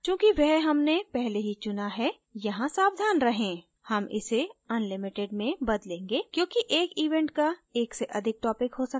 चूंकि वह हमने पहले ही चुना है यहाँ सावधान रहें हम इसे unlimited में बदलेंगे क्योंकि एक event का एक से अधिक topic हो सकता है